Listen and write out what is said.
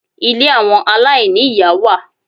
Ilé àwọn aláìní-ìyá wà.